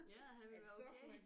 Ja at han ville være okay